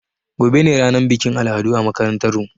Gobe ne ranar bikin al'adu a makarantar mu